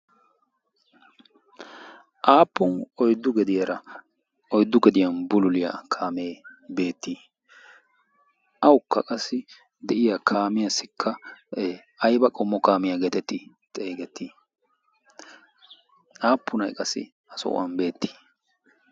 aappun oyddu gediyaara oiddu gediyan bululiyaa kaamee beettii awukka qassi de'iya kaamiyaassikka ayba qommo kaamiyaa geetettii xeygettii aappun ay qassi a so'uwan beettii?